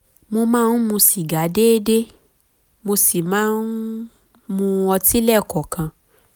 mo máa ń mu sìgá déédéé mo sì máa ń mutí lẹ́ẹ̀kọ̀ọ̀kan